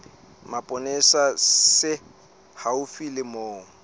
mapolesa se haufi le moo